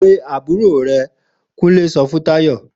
Pe àbúrò re!' Kúnlé so fún Táyò